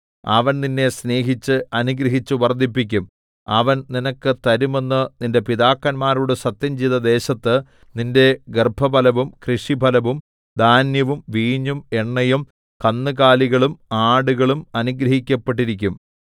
അവൻ നിന്നെ സ്നേഹിച്ച് അനുഗ്രഹിച്ച് വർദ്ധിപ്പിക്കും അവൻ നിനക്ക് തരുമെന്ന് നിന്റെ പിതാക്കന്മാരോട് സത്യംചെയ്ത ദേശത്ത് നിന്റെ ഗർഭഫലവും കൃഷിഫലവും ധാന്യവും വീഞ്ഞും എണ്ണയും കന്നുകാലികളും ആടുകളും അനുഗ്രഹിക്കപ്പെട്ടിരിക്കും